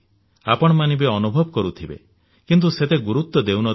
ଆପଣମାନେ ବି ଅନୁଭବ କରିଥିବେ କିନ୍ତୁ ସେତେ ଗୁରୁତ୍ୱ ଦେଉନଥିବେ